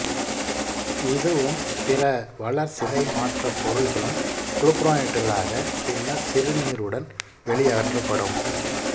இதுவும் பிற வளர்சிதைமாற்ற பொருள்களும் குளுக்குரோனைட்டுகளாக பின்னர் சிறுநீருடன் வெளியகற்றப்படும்